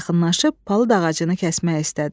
Yaxınlaşıb palıd ağacını kəsmək istədi.